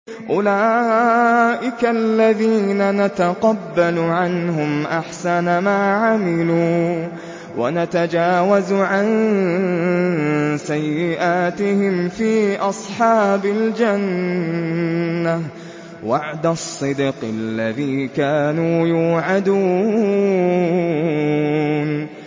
أُولَٰئِكَ الَّذِينَ نَتَقَبَّلُ عَنْهُمْ أَحْسَنَ مَا عَمِلُوا وَنَتَجَاوَزُ عَن سَيِّئَاتِهِمْ فِي أَصْحَابِ الْجَنَّةِ ۖ وَعْدَ الصِّدْقِ الَّذِي كَانُوا يُوعَدُونَ